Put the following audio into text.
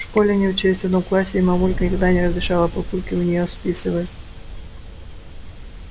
в школе они учились в одном классе и мамулька никогда не разрешала папульке у нее списывать